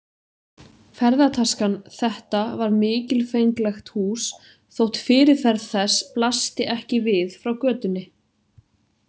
Ferðataskan Þetta var mikilfenglegt hús þótt fyrirferð þess blasti ekki við frá götunni.